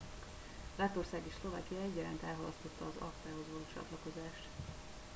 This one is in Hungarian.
lettország és szlovákia egyaránt elhalasztotta az acta hoz való csatlakozást